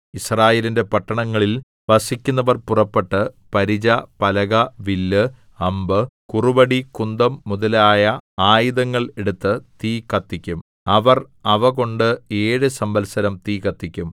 യിസ്രായേലിന്റെ പട്ടണങ്ങളിൽ വസിക്കുന്നവർ പുറപ്പെട്ട് പരിച പലക വില്ല് അമ്പ് കുറുവടി കുന്തം മുതലായ ആയുധങ്ങൾ എടുത്തു തീ കത്തിക്കും അവർ അവ കൊണ്ട് ഏഴു സംവത്സരം തീ കത്തിക്കും